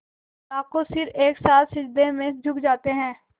लाखों सिर एक साथ सिजदे में झुक जाते हैं